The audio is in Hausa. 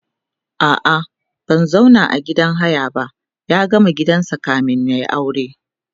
a'a bai zauna a gidan haya ba ya gama gininsa kamin yayi aure